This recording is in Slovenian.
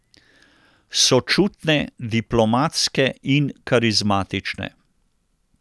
Sočutne, diplomatske in karizmatične.